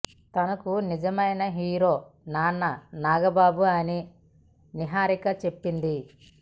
తనకు నిజమైన హీరో నాన్న నాగబాబు అని నిహారికా చెప్పింది